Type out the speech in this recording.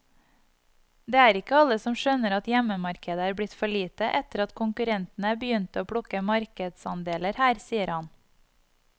Det er ikke alle som skjønner at hjemmemarkedet er blitt for lite etter at konkurrentene begynte å plukke markedsandeler her, sier han.